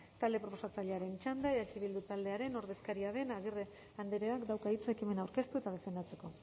talde proposatzailearen txanda eh bildu taldearen ordezkari den agirre andreak dauka hitza ekimena aurkeztu eta defendatzeko